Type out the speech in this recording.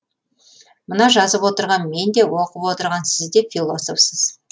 мына жазып отырған мен де оқып отырған сіз де философсыз